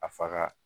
A faga